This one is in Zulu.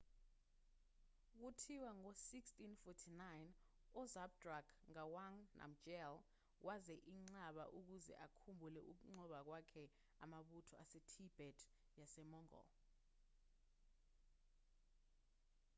kuthiwa ngo-1649 uzhabdrung ngawang namgyel wenza inqaba ukuze akhumbule ukunqoba kwakhe amabutho asetibet yasemongol